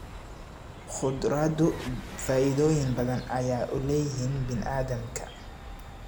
Khudradu faa'iidooyin badan ayay u leeyihiin bini'aadamka